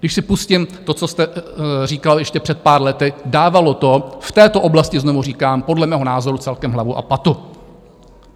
Když si pustím to, co jste říkal ještě před pár lety, dávalo to v této oblasti, znovu říkám, podle mého názoru celkem hlavu a patu.